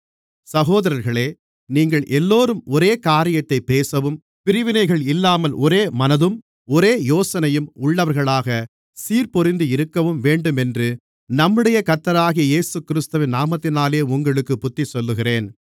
சகோதரர்களே நீங்களெல்லோரும் ஒரே காரியத்தைப் பேசவும் பிரிவினைகள் இல்லாமல் ஒரே மனதும் ஒரே யோசனையும் உள்ளவர்களாகச் சீர்பொருந்தியிருக்கவும் வேண்டுமென்று நம்முடைய கர்த்தராகிய இயேசுகிறிஸ்துவின் நாமத்தினாலே உங்களுக்குப் புத்திசொல்லுகிறேன்